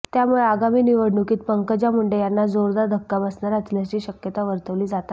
त्यामुळे आगामी निवडणुकीत पंकजा मुंडे यांना जोरदार धक्का बसणार असल्याची शक्यता वर्तवली जात आहे